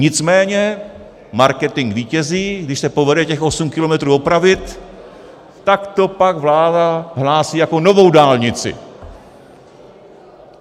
Nicméně marketing vítězí, když se povede těch osm kilometrů opravit, tak to pak vláda hlásí jako novou dálnici.